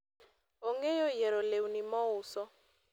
ong'eyo yiero lewni mouso